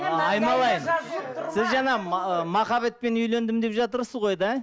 айналайын сен жаңа ма махаббатпен үйлендім деп жатырсыз ғой да